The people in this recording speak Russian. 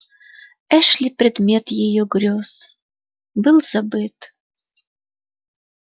эшли предмет её грёз был забыт